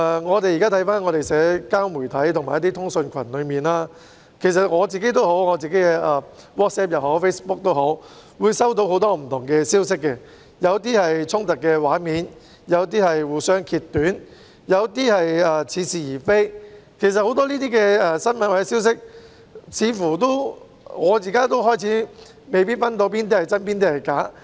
看看現時的社交媒體和通訊群組，例如我亦透過個人的 WhatsApp 或 Facebook 收到不同的消息，有些是衝突畫面、有些是互相揭短、有些則似是而非，對於這些新聞或消息，似乎我現在也開始未能分辨哪些是真、哪些是假。